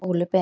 Óli Ben.